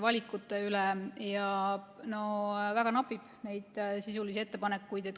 No väga napib neid sisulisi ettepanekuid.